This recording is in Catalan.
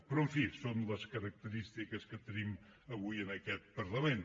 però en fi són les característiques que tenim avui en aquest parlament